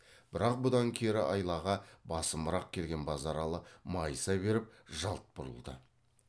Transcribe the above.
бірақ бұдан кері айлаға басымырақ келген базаралы майыса беріп жалт бұрылды